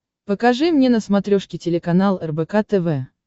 покажи мне на смотрешке телеканал рбк тв